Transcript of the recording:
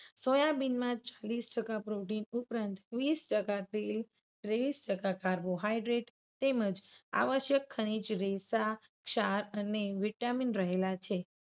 સોયાબીનમાં વીસ ટકા protein ઉપરાંત વીસ ટકા તેલ ત્રેવીસ ટકા carbohydrate તેમજ આવશ્યક ખનીજ રેસા શા અને વિટામિન રહેલા છે.